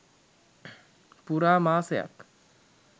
පුරා මාසයක්